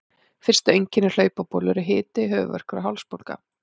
Fyrstu einkenni hlaupabólu eru hiti, höfuðverkur og hálsbólga.